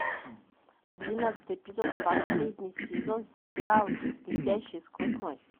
двенадцатый эпизод последний сезон сериал летящий сквозь ночь